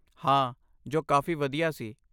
ਹਾਂ! ਜੋ ਕਿ ਕਾਫ਼ੀ ਵਧੀਆ ਸੀ।